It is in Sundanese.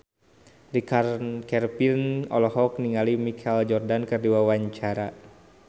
Richard Kevin olohok ningali Michael Jordan keur diwawancara